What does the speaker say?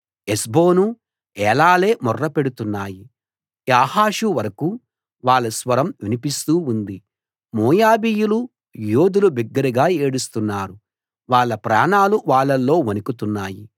హెష్బోను Elealeh మొర్ర పెడుతున్నాయి Jahaz వరకూ వాళ్ళ స్వరం వినిపిస్తూ ఉంది మోయాబీయుల యోధులు బిగ్గరగా ఏడుస్తున్నారు వాళ్ళ ప్రాణాలు వాళ్ళల్లో వణుకుతున్నాయి